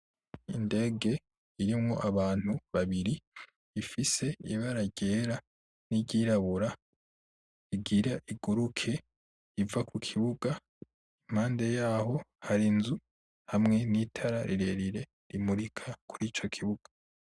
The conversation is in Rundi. Indege irimwo abantu babiri ifise ibara ryera n'iryirabura, igira iguruke iva ku kibuga. Impande yaho hari inzu hamwe n'itara rirerire rimurika kurico kibuga.